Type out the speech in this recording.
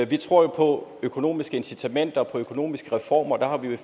vi tror på økonomiske incitamenter på økonomiske reformer og der har vi